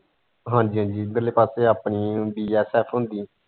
ਹਾਂਜ਼ੀ ਹਾਂਜ਼ੀ ਇੱਧਰਲੇ ਪਾਸੇ ਆਪਣੀ ਹੁੰਦੀ ਹੈ .